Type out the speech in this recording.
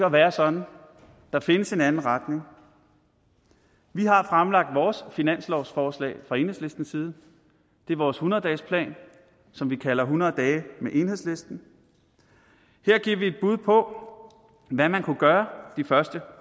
at være sådan der findes en anden retning vi har fremlagt vores finanslovsforslag fra enhedslistens side det er vores hundrede dagesplan som vi kalder hundrede dage med enhedslisten her giver vi et bud på hvad man kunne gøre de første